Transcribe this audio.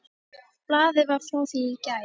Blaðið var frá því í gær.